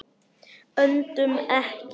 Öndum ekki.